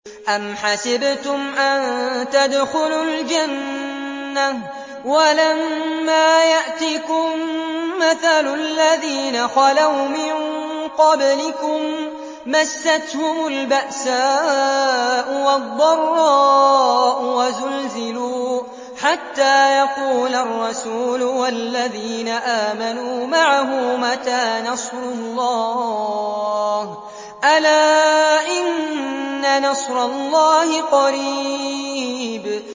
أَمْ حَسِبْتُمْ أَن تَدْخُلُوا الْجَنَّةَ وَلَمَّا يَأْتِكُم مَّثَلُ الَّذِينَ خَلَوْا مِن قَبْلِكُم ۖ مَّسَّتْهُمُ الْبَأْسَاءُ وَالضَّرَّاءُ وَزُلْزِلُوا حَتَّىٰ يَقُولَ الرَّسُولُ وَالَّذِينَ آمَنُوا مَعَهُ مَتَىٰ نَصْرُ اللَّهِ ۗ أَلَا إِنَّ نَصْرَ اللَّهِ قَرِيبٌ